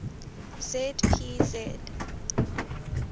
z p z